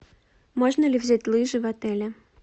можно ли взять лыжи в отеле